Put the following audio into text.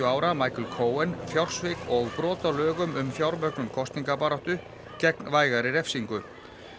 ára Michael Cohen fjársvik og brot á lögum um fjármögnun kosningabaráttu gegn vægari refsingu